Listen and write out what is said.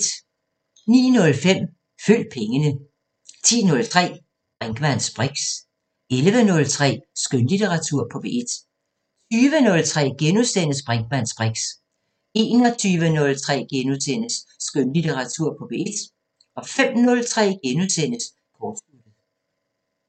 09:05: Følg pengene 10:03: Brinkmanns briks 11:03: Skønlitteratur på P1 20:03: Brinkmanns briks * 21:03: Skønlitteratur på P1 * 05:03: Kortsluttet *